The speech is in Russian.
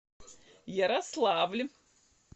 ярославль